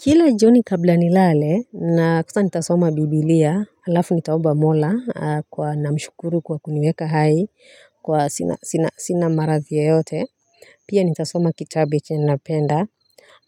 Kila joni kabla nilale na kusa nitasoma Biblia alafu nitaomba Mola, namshukuru kwa kuniweka hai kwa sina marathi yeyote pia nitasoma kitabe chenye napenda